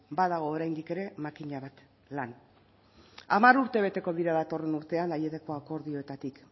badago oraindik ere makina bat lan hamar urte beteko dira datorren urtean aieteko akordioetatik